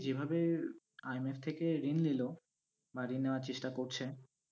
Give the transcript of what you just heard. যেভাবে IMF থেকে ঋণ নিলো বা ঋণ নেওয়ার চেষ্টা করছে,